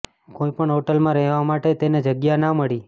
કોઈ પણ હોટલમાં રહેવા માટે તેને જગ્યા ના મળી